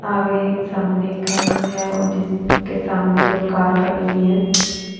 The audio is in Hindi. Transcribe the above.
आगे एक सामने है और जिसके सामने दो कार खड़ी हुई है।